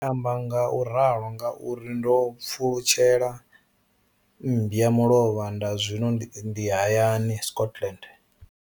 Ndi amba ngauralo nga uri ndo pfulutshela mmba mulovha na zwino ndi hayani, Scotland.